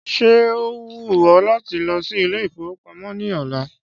Ṣé ó wù ọ láti lọ sí Ilé-ìfowópamó ní ọ̀la?